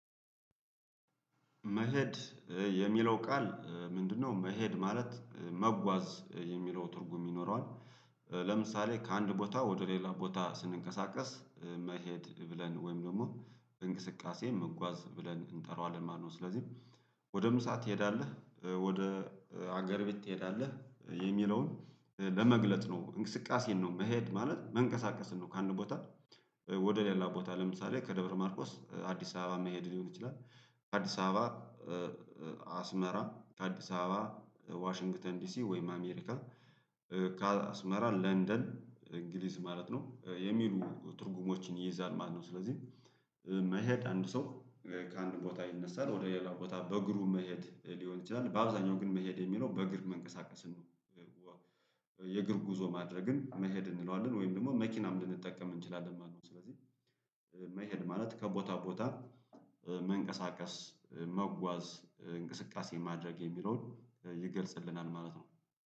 መሄድ የሚለው ቃል ምንድነው? መሄድ ማለት መጓዝ የሚለው ትርጉም ይኖረዋል። ለምሳሌ ከአንድ ቦታ ወደ ሌላ ቦታ ስንንቀሳቀስ መሄድ ብለን ወይም ደግሞ እንቅስቃሴ መጓዝ ብለን እንጠራዋለን ማለት ነው። ስለዚህ ወደ ምሳ ትሄዳለህ ወደ አገር ቤት ትሄዳለህ የሚለውን ለመግለጥ ነው እንቅስቃሴን ነው መሄድ ማለት መንቀሳቀስን ነው። ከአንድ ቦታ ወደ ሌላ ቦታ ለምሳሌ ከደብረ ማርቆስ አዲስ አበባ መሄድ ሊሆን ይችላል። አዲስ አበባ አስመራ አዲስ አበባ ዋሽንግተን ዲሲ ወይም አሜሪካ ካስመራ ለንደን እንግሊዝ ማለት ነው የሚሉ ትርጉሞችን ይይዛል ማለት ነው። ስለዚህ መሄድ አንድ ሰው ከአንድ ቦታ ይነሳል ወደ ሌላው ቦታ በእግሩ መሄድ ሊሆን ይችላል በአብዛኛው ግን መሄድ የሚለው በእግር መንቀሳቀስን ነው። የእግር ጉዞ ማድረግን መሄድ እንለዋለን ወይም ደግሞ መኪናም ልንጠቀም እንችላለን ማለት ነው። መሄድ ማለት ከቦታ ቦታ መንቀሳቀስ መጓዝ እንቅስቃሴ ማድረግ የሚለውን ይገልጽልናል ማለት ነው።